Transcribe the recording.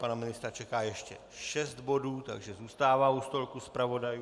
Pana ministra čeká ještě šest bodů, takže zůstává u stolku zpravodajů.